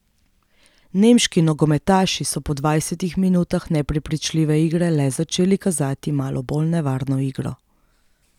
Nemški nogometaši so po dvajsetih minutah neprepričljive igre le začeli kazati malo bolj nevarno igro.